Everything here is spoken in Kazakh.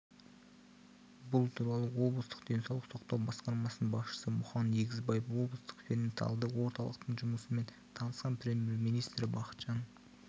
бұл туралы облыстық денсаулық сақтау басқармасының басшысы мұхан егізбаев облыстық перинаталды орталықтың жұмысымен танысқан премьер-министрі бақытжан